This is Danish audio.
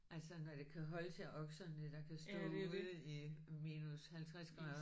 Altså når det kan holde til okserne der kan stå ude i minus 50 grader